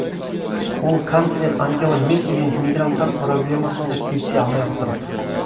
ол канцлер ангела меркельмен мигранттар проблемасында келісе алмай отыр